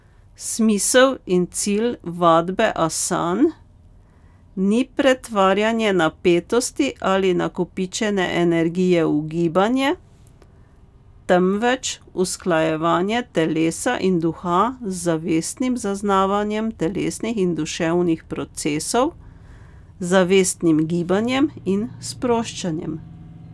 Smisel in cilj vadbe asan ni pretvarjanje napetosti ali nakopičene energije v gibanje, temveč usklajevanje telesa in duha z zavestnim zaznavanjem telesnih in duševnih procesov, zavestnim gibanjem in sproščanjem.